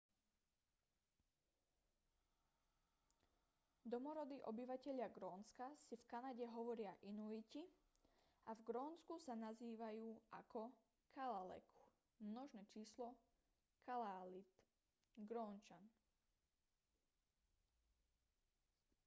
domorodí obyvatelia grónska si v kanade hovoria inuiti a v grónsku sa nazývajú ako kalaalleq množné číslo kalaallit grónčan